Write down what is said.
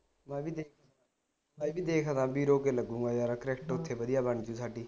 ਮੈਂ ਵੀ ਮੈਂ ਵੀ ਦੇਖਦਾ ਬਾਈ ਕੇ ਲੱਗੂਗਾ ਯਾਰ cricket ਓਥੇ ਵਧੀਆ ਬਣ ਜੁ ਸਾਡੀ